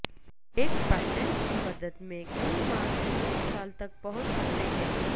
ایک پیٹنٹ کی مدت میں کئی ماہ سے ایک سال تک پہنچ سکتے ہیں